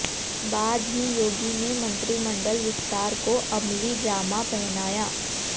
बाद ही योगी ने मंत्रिमंडल विस्तार को अमली जामा पहनाया